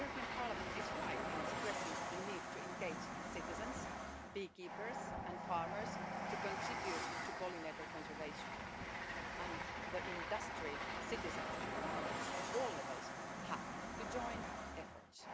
Parliament is right in stressing the need to engage citizens, beekeepers and farmers to contribute to pollinator conservation and industry, citizens and governments at all levels have to join efforts.